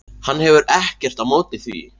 Hann hefur ekkert á móti því.